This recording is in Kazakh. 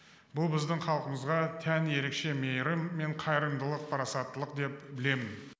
бұл біздің халқымызға тән ерекше мейірім мен қайырымдылық парасаттылық деп білемін